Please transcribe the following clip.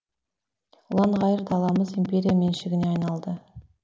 ұлан ғайыр даламыз империя меншігіне айналды